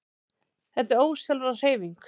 Þetta er ósjálfráð hreyfing.